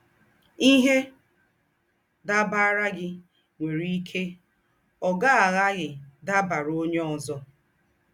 Íhe dàbaàrà gị̀ nwérè íkè ọ̀ gá-àghàghì dàbaàrà ónyè ózọ.